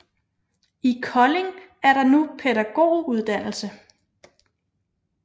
I Kolding er der nu pædagoguddannelse